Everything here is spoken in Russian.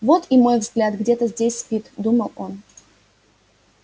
вот и мой взгляд где то здесь спит думал он